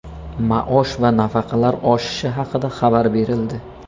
Maosh va nafaqalar oshishi haqida xabar berildi.